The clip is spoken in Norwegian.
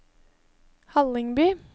Hallingby